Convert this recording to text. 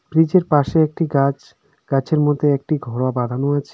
Bridge -এর পাশে একটি গাছ গাছের মধ্যে একটি ঘোড়া বাঁধানো আছে।